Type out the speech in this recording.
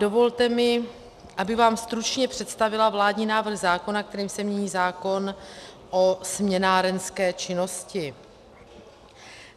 Dovolte mi, abych vám stručně představila vládní návrh zákona, kterým se mění zákon o směnárenské činnosti.